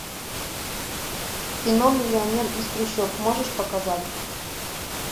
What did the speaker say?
кино миллионер из трущоб можешь показать